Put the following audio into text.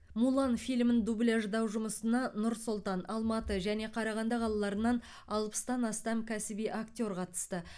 мулан фильмін дубляждау жұмысына нұр сұлтан алматы және қарағанды қалаларынан алпыстан астам кәсіби актер қатысты